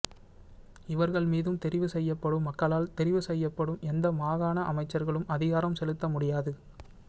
இவர்கள் மீதும் தெரிவு செய்யப்படும் மக்களால் தெரிவு செய்யப்படும் எந்த மாகாண அமைச்சர்களும் அதிகாரம் செலுத்த முடியாது